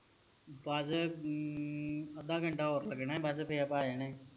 ਬਸ ਹਮ ਅੱਧਾ ਘੰਟਾ ਹੋਰ ਲੱਗਣਾ ਬਸ ਫਿਰ ਆਪਾ ਆ ਜਾਣਾ